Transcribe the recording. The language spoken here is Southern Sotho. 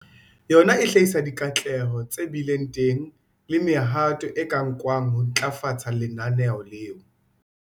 Yona e hlahisa dikatleho tse bileng teng le mehato e ka nkwang ho ntlafatsa lenaneo leo.